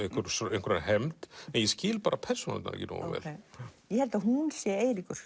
einhverja einhverja hefnd en ég skil bara persónurnar ekki nógu vel ég held að hún sé Eiríkur